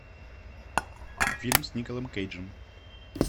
фильм с николом кейджем